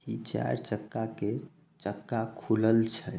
इ चार चक्का के चक्का खुलल छै।